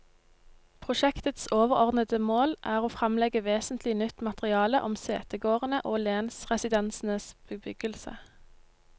Prosjektets overordede mål er å fremlegge vesentlig nytt materiale om setegårdene og lensresidensenes bebyggelse.